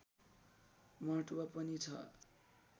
महत्त्व पनि छ